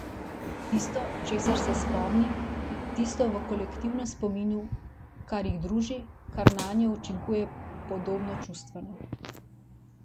Tisto, česar se spomni, tisto v kolektivnem spominu, kar jih druži, kar nanje učinkuje podobno čustveno.